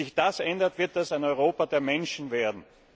Wenn sich das ändert, wird das ein Europa der Menschen werden.